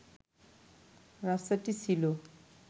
রাস্তাটি ছিল